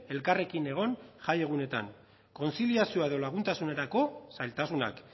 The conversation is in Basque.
elkarrekin egon jai egunetan kontziliazioa edo laguntasunerako zailtasunak